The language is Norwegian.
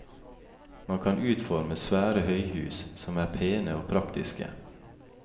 Man kan utforme svære høyhus som er pene og praktiske.